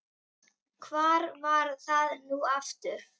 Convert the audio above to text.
hvar var það nú aftur?